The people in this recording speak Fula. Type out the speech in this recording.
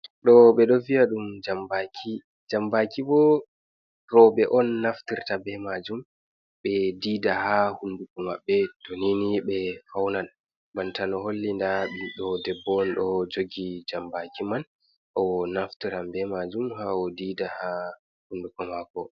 Ɗo ɓe ɗo wi'a ɗum jambaaki, jambaki bo robe on naftirta be majum. Ɓe dida ha hunnduko maɓɓe to nini ɓe faunan banta no holli nda ɓiɗɗo debbo ɗo jogi jambaki man o naftiran be majum ha o dida ha hunnduko mako.